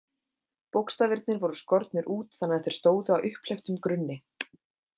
Bókstafirnir voru skornir út þannig að þeir stóðu á upphleyptum grunni.